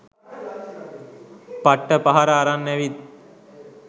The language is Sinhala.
පට්ට පහර අරන් ඇවිත්.